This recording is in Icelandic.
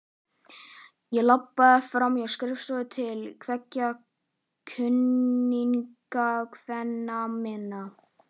Ég labbaði fram á skrifstofu til tveggja kunningjakvenna minna.